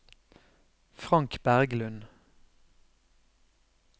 Frank Berglund